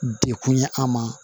Dekun ye an ma